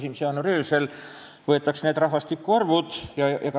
Need rahvastikuandmed võetakse 1. jaanuari öösel.